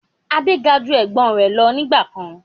Adé ga ju Ẹ̀gbọ́n rẹ lọ nígbàkan